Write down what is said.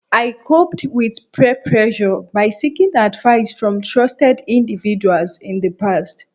N’ko doakọnna kọgbidinamẹ hagbẹ tọn gbọn ayinamẹ yíyí sọn mẹhe go yè dejido lẹ dè to hohowhenu dali